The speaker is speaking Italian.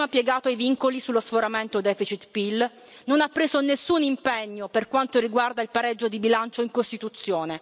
Si è prima piegato ai vincoli sullo sforamento deficit PIL, non ha preso nessun impegno per quanto riguarda il pareggio di bilancio in Costituzione.